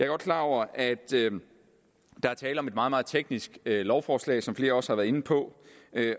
godt klar over at der er tale om et meget meget teknisk lovforslag som flere også har været inde på